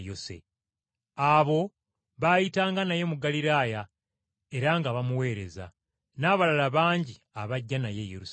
Abo baayitanga naye mu Ggaliraaya era nga bamuweereza, n’abalala bangi abajja naye e Yerusaalemi.